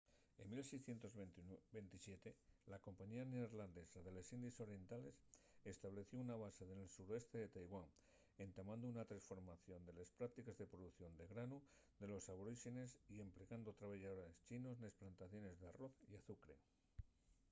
en 1627 la compañía neerlandesa de les indies orientales estableció una base nel suroeste de taiwán entamando una tresformación de les práctiques de producción de granu de los aboríxenes y emplegando trabayadores chinos nes plantaciones d’arroz y azucre